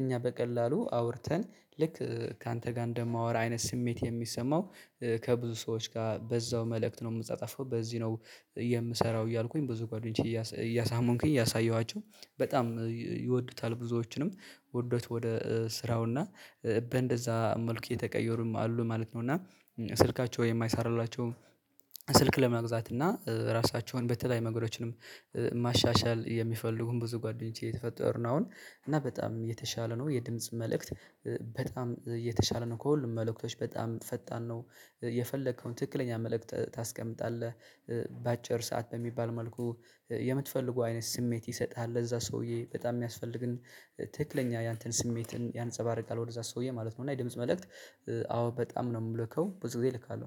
እኛ በቀላሉ አውርተን ልክ ካንተ ጋር እንደማወራ አይነት ስሜት የሚሰማው ከብዙ ሰዎች ጋር በዛው መልእክት ነው የምጻጻፈው በዚህ ነው የምሰራው እያልኩኝ ብዙ ጓደኞቼ እያሳመንኩኝ እያሳየኋቸው በጣም ይወዱታል ብዙዎችንም ወዶት ወደ ስራውና በእንደዛ መልኩ የተቀየሩም አሉ ማለት ነው። እና ስልካቸው የማይሰራላቸው ስልክ ለማግዛት እና ራሳቸውን በተለያየ መንገዶችንም ማሻሻል የሚፈልጉን ብዙ ጓደኞቼ የተፈጠርነው አሁን እና በጣም የተሻለ ነው የድምጽ መልእክት። በጣም የተሻለ ነው ከሁሉም መልእክቶች በጣም ፈጣን ነው። የፈለከውን ትክክለኛ መልእክት ታስቀምጣለህ በአጭር ሰዓት በሚባል መልኩ የምትፈልጉ አይነት ስሜት ይሰጥሃል ለዛ ሰውዬ በጣም የሚያስፈልግን ትክክለኛ ያንተን ስሜትን ያንፀባርቃል ወደዛ ሰውዬ ማለት ነው። እና የድምጽ መልእክት አዎ በጣም ነው የምልከው ብዙ ጊዜ እልካለሁ።